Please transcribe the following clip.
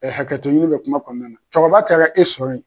hakɛto ɲini bɛ kuma kɔɔna na, cɛkɔrɔba taara e sɔrɔ ye